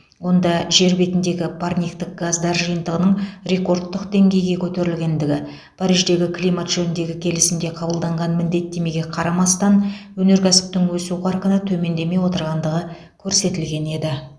онда жер бетіндегі парниктік газдар жиынтығының рекордтық деңгейге көтерілгендігі париждегі климат жөніндегі келісімде қабылданған міндеттемеге қарамастан өнеркәсіптің өсу қарқыны төмендемей отырғандығы көрсетілген еді